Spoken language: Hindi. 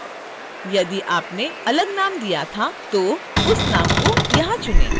यदि आपने अलग नाम दिया था तो उस नाम को यहां चुनें